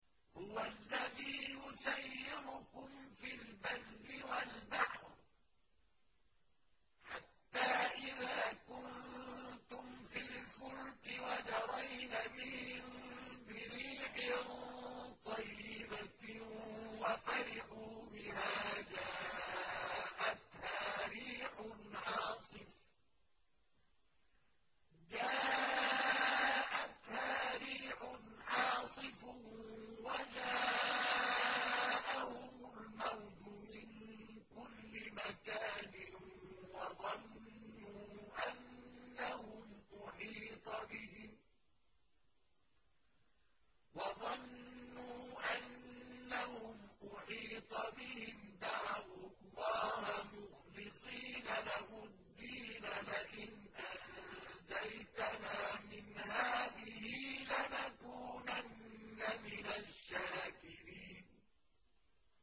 هُوَ الَّذِي يُسَيِّرُكُمْ فِي الْبَرِّ وَالْبَحْرِ ۖ حَتَّىٰ إِذَا كُنتُمْ فِي الْفُلْكِ وَجَرَيْنَ بِهِم بِرِيحٍ طَيِّبَةٍ وَفَرِحُوا بِهَا جَاءَتْهَا رِيحٌ عَاصِفٌ وَجَاءَهُمُ الْمَوْجُ مِن كُلِّ مَكَانٍ وَظَنُّوا أَنَّهُمْ أُحِيطَ بِهِمْ ۙ دَعَوُا اللَّهَ مُخْلِصِينَ لَهُ الدِّينَ لَئِنْ أَنجَيْتَنَا مِنْ هَٰذِهِ لَنَكُونَنَّ مِنَ الشَّاكِرِينَ